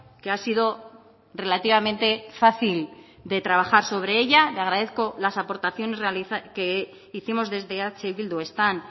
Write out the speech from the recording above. que ha sido relativamente fácil de trabajar sobre ella le agradezco las aportaciones que hicimos desde eh bildu están